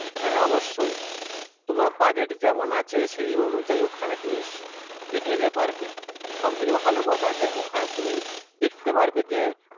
হ্যাঁ অবশ্যই। তোমার budget যেমন আছে সেই অনুযায়ী ওখানে তুমি দেখে নিতে পারবে। সবথেকে ভালো কথা যে, ওখানে তুমি দেখতে পারবে যে,